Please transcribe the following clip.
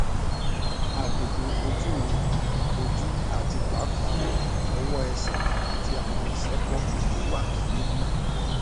agbegbe oju mi oju ati paapaa ọwọ ẹsẹ ati awọn isẹpo gbogbo wa ni wiwu